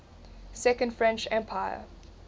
second french empire